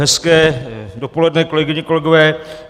Hezké dopoledne, kolegyně, kolegové.